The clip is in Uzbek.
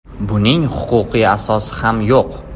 Buning huquqiy asosi ham yo‘q.